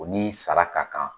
U ni sara ka kan